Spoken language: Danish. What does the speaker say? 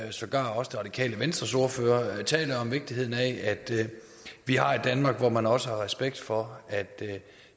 og sågar også det radikale venstres ordfører taler om vigtigheden af at vi har et danmark hvor man også har respekt for at